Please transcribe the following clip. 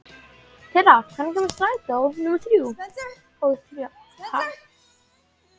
Tera, hvenær kemur strætó númer þrjátíu og þrjú?